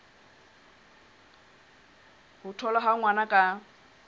ho tholwa ha ngwana ka